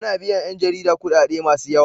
Ana biyan yan jarida kudade masu yawa.